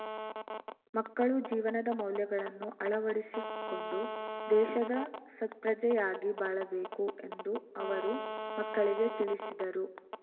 ಮಕ್ಕಳು ಜೀವನದ ಮೌಲ್ಯಗಳನ್ನು ಅಳವಡಿಸಿಕೊಂಡು ದೇಶದ ಸತ್ಪ್ರಜೆಯಾಗಿ ಬಾಳಬೇಕು ಎಂದು ಅವರು ಮಕ್ಕಳಿಗೆ ತಿಳಿಸಿದರು